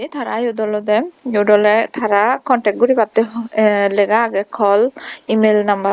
tara iyot olodey iyot oley tara contact goribatte ho lega agey call email number.